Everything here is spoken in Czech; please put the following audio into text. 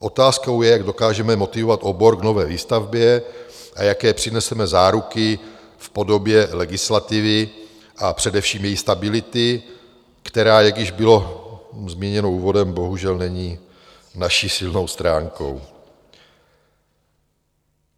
Otázkou je, jak dokážeme motivovat obor k nové výstavbě a jaké přineseme záruky v podobě legislativy a především její stability, která, jak již bylo zmíněno úvodem, bohužel není naší silnou stránkou.